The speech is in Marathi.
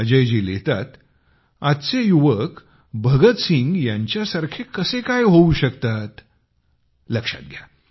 अजयजी लिहितात आजचे युवक भगतसिंग यांच्यासारखे कसे काय होऊ शकतात लक्षात घ्या